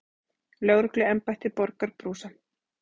Lögregluembættið borgar brúsann.